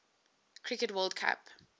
cricket world cup